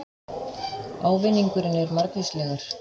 Ávinningurinn er margvíslegur